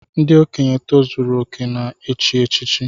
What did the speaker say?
Ndị okenye tozuru okè na echi echichi